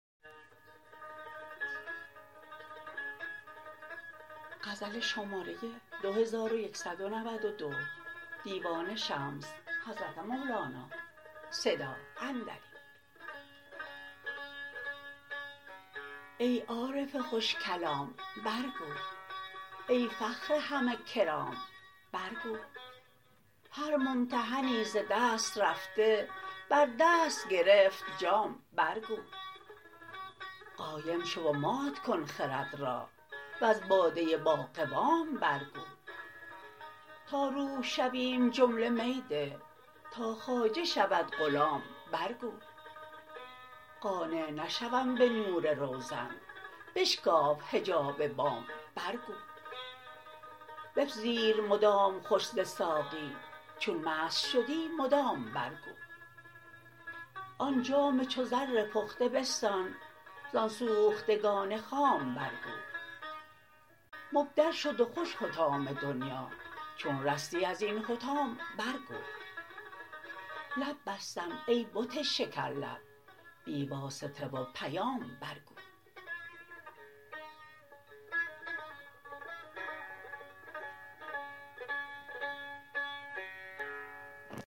ای عارف خوش کلام برگو ای فخر همه کرام برگو هر ممتحنی ز دست رفته بر دست گرفت جام برگو قایم شو و مات کن خرد را وز باده باقوام برگو تا روح شویم جمله می ده تا خواجه شود غلام برگو قانع نشوم به نور روزن بشکاف حجاب بام برگو بپذیر مدام خوش ز ساقی چون مست شدی مدام برگو آن جام چو زر پخته بستان زان سوختگان خام برگو مبدل شد و خوش حطام دنیا چون رستی از این حطام برگو لب بستم ای بت شکرلب بی واسطه و پیام برگو